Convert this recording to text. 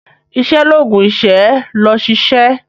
Iṣẹ́ l'oògùn ìṣẹ́. lọ ṣiṣẹ́!